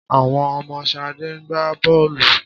Àwọn ọmọ Ṣadé ń gbá bọ́ọ̀lù.